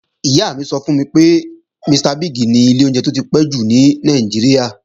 Ìyá mi sọ fún mi pé, Mr. Biggs ni ilé oúnjẹ tó ti pẹ́ jù ní Nàìjíríà.